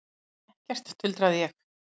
Ég finn ekkert, tuldraði ég.